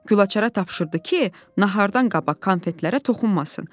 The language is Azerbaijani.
Gülaçara tapşırdı ki, nahardan qabaq konfetlərə toxunmasın.